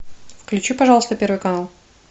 включи пожалуйста первый канал